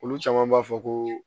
Olu caman b'a fɔ ko